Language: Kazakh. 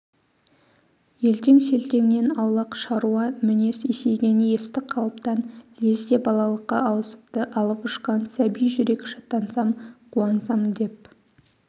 елтең-селтеңнен аулақ шаруа мінез есейген есті қалыптан лезде балалыққа ауысыпты алып-ұшқан сәби жүрек шаттансам қуансам деп